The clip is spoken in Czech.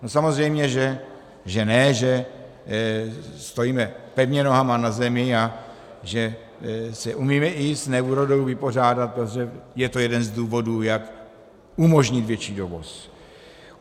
No samozřejmě že ne, že stojíme pevně nohama na zemi a že se umíme i s neúrodou vypořádat, protože je to jeden z důvodů, jak umožnit větší dovoz.